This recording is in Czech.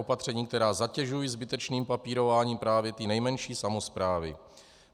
Opatření, která zatěžují zbytečným papírováním právě ty nejmenší samosprávy.